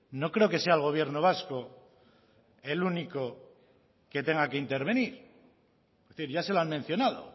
no creo que sea el gobierno vasco el único que tenga que intervenir ya se lo han mencionado